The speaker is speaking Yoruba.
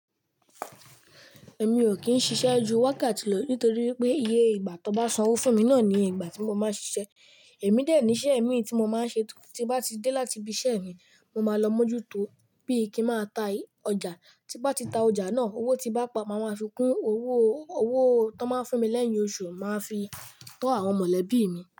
Ẹ̀mí ò kí ń ṣiṣẹ́ ju wákàtí lọ nítorí pé iye ìgbà tó n bá san owó fún mí náà ni iye ìgbà tí mo máa ń ṣiṣẹ́. Ẹ̀mí dè ni iṣẹ́ ẹ̀mí tí mo máa ń ṣe tí bá ti dé láti ibi iṣẹ́ mi, mo máa lọ mójútó bí i kí máa ta ọjà. Tí nbá ti ta ọjà náà, owó tí nbá pa, màá fi kún owó, owó tó máa ń fún mí lẹ́yìn oṣù, màá fi tọ́ àwọn mọ̀lẹ́bí mi.